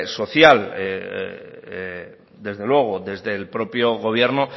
social desde luego desde el propio gobierno